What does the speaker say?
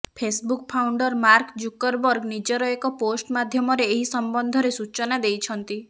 Facebook founder Mark Zuckerberg ନିଜର ଏକ post ମାଧ୍ୟମରେ ଏହି ସମ୍ବନ୍ଧରେ ସୂଚନା ଦେଇଛନ୍ତି